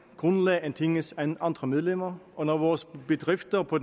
grundlag end tingets andre medlemmer og når vores bedrifter på